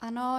Ano.